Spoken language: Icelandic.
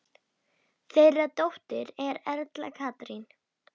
Þeirra dóttir er Erla Katrín.